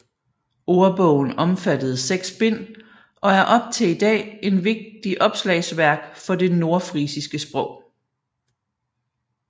Ordbogen omfattede seks bind og er op til i dag en vigtig opslagsværk for det nordfrisiske sprog